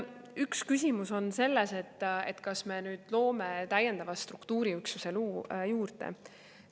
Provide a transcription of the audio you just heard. Üks küsimus on selles, kas me loome täiendava struktuuriüksuse juurde.